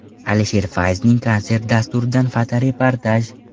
Alisher Fayzning konsert dasturidan fotoreportaj.